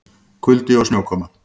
Kuldi og snjókoma